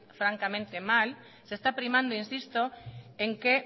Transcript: francamente mal se está primando insisto en que